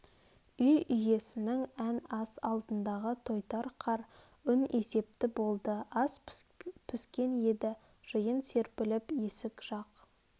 үй иеснің ән ас алдындағы тойтар қар үн есепті болды ас піскен еді жиын серпіліп есік жақ